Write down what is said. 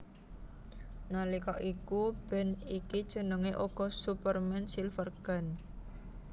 Nalika iku band iki jenengé uga Superman Silvergun